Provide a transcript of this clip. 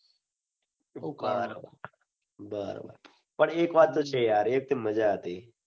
બરોબર પણ એક વાત તો છે. એ એકદમ માજા હતી.